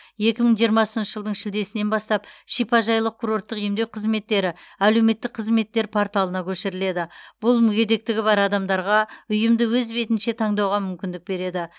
екі мың жиырмасыншы жылдың шілдесінен бастап шипажайлық курорттық емдеу қызметтері әлеуметтік қызметтер порталына көшіріледі бұл мүгедектігі бар адамдарға ұйымды өз бетінше таңдауға мүмкіндік береді